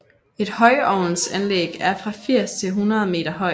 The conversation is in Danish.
Et højovnsanlæg er fra 80 til 100 meter højt